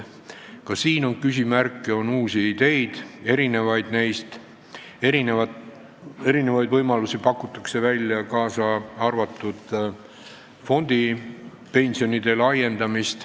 Ka siin on küsimärke, on uusi ideid, pakutakse erinevaid võimalusi, kaasa arvatud fondipensionide kasutamise laiendamist.